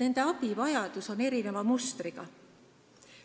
nende abivajadus on erineva mustriga.